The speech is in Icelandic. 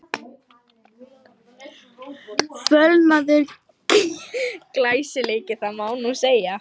Fölnaður glæsileiki, það má nú segja!